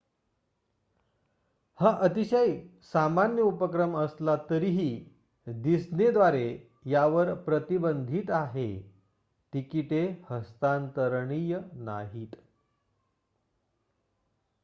हा अतिशय सामान्य उपक्रम असला तरीही डिस्नेद्वारे यावर प्रतिबंधित आहे तिकिटे हस्तांतरणीय नाहीत